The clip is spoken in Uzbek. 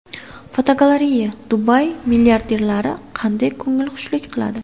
Fotogalereya: Dubay milliarderlari qanday ko‘ngilxushlik qiladi?.